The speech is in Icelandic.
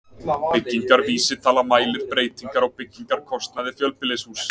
Byggingarvísitala mælir breytingar á byggingarkostnaði fjölbýlishúss.